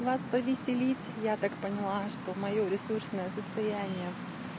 вас повеселить я так поняла что моё ресурсное состояние